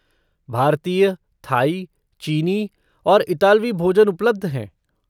भारतीय, थाई, चीनी और इतालवी भोजन उपलब्ध हैं।